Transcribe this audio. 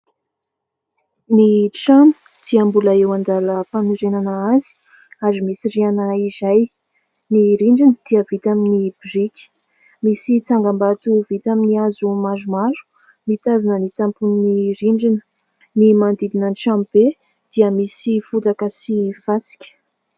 Ny trano dia mbola eo an-dalam-panorenana azy ary misy rihana iray. Ny rindrina dia vita amin'ny biriky. Misy tsangambato vita amin'ny hazo maromaro mitazona ny tampon'ny rindrina. Ny manodidina ny tranobe dia misy fotaka sy fasika.